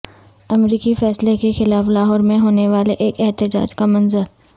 امریکی فیصلے کے خلاف لاہور میں ہونے والے ایک احتجاج کا منظر